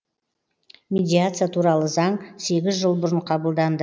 медиация туралы заң сегіз жыл бұрын қабылданды